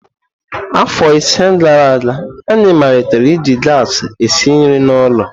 Afọ ise gara aga, anyị malitere iji gasi esi nri n'ụlọ.